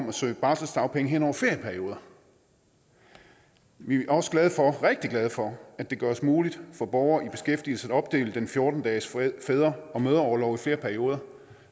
at søge barselsdagpenge hen over ferieperioder vi er også rigtig glade for at det gøres muligt for borgere i beskæftigelse at opdele den fjorten dages fædre og mødreorlov i flere perioder